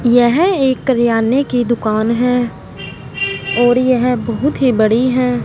यह एक किरयाने की दुकान है और यह बहुत ही बड़ी है।